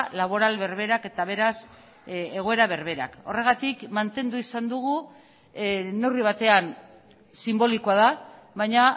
laboral berberak eta beraz egoera berberak horregatik mantendu izan dugu neurri batean sinbolikoa da baina